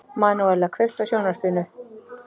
Manúella, kveiktu á sjónvarpinu.